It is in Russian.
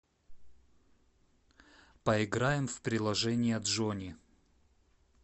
поиграем в приложение джони